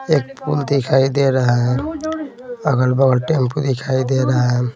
एक पुल दिखाई दे रहा है अगल बगल टेंपू दिखाई दे रहा है।